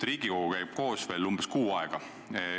Riigikogu käib koos veel umbes kuu aega.